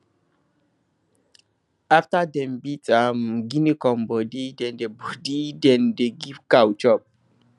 after dem beat um guinea corn body dem dey body dem dey give cow chop